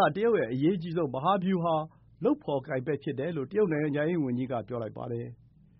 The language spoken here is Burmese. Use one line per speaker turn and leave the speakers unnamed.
ာ တရုတ်ရဲ့ အရေးအကြီးဆုံး မဟာဗျူဟာ လုပ်ဖော်ကိုင်ဖက်ဖြစ်တယ်လို့ တရုတ်နိုင်ငံခြားရေးဝန်ကြီးက ပြောလိုက်ပါတယ်